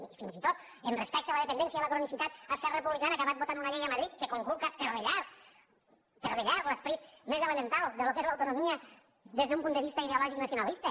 i fins i tot respecte a la dependència i a la cronicitat esquerra republicana ha acabat votant una llei a madrid que conculca però de llarg però de llarg l’esperit més elemental del que és l’autonomia des d’un punt de vista ideològic nacionalista